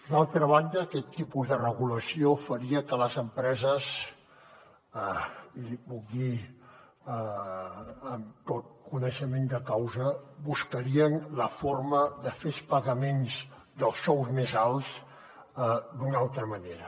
d’altra banda aquest tipus de regulació faria que les empreses i li puc dir amb tot el coneixement de causa buscarien la forma de fer els pagaments dels sous més alts d’una altra manera